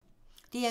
DR2